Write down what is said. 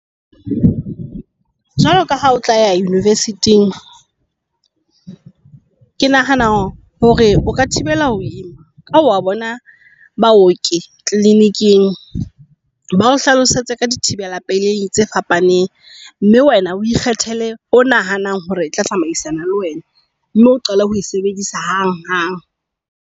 Jwaloka ha o tla university-ng, ke nahana hore o ka thibela ho ima ka ho wa bona baoki kliniking ba o hlalosetse ka dithibela pelei tse fapaneng. Mme wena o ikgethele, o nahanang hore e tla tsamaisana le wena mme o qale ho e sebedisa hang hang.